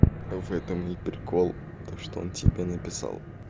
в этом и прикол то что он тебе написал